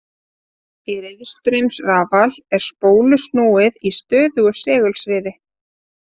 Í riðstraumsrafal er spólu snúið í stöðugu segulsviði.